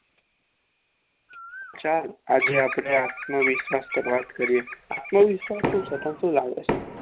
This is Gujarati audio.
આજે આપડે આત્મવિશ્વાસ પર વાત કરીએ આત્મવિશ્વાસ